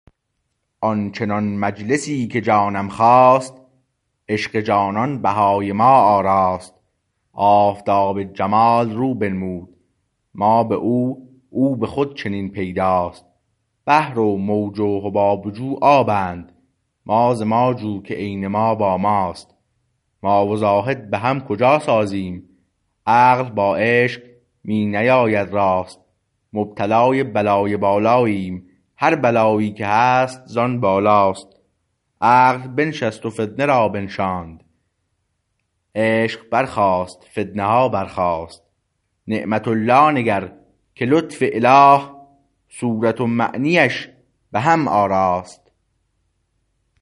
آن چنان مجلسی که جانم خواست عشق جانان بهای ما آراست آفتاب جمال رو بنمود ما به او او به خود چنین پیداست بحر و موج و حباب و جو آبند ما ز ما جو که عین ما با ماست ما و زاهد به هم کجا سازیم عقل با عشق می نیاید راست مبتلای بلای بالاییم هر بلایی که هست زان بالاست عقل بنشست و فتنه را بنشاند عشق برخاست فتنه ها برخاست نعمت الله نگر که لطف اله صورت و معنیش به هم آراست